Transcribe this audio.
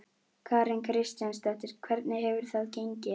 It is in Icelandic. Karen Kjartansdóttir: Hvernig hefur það gengið?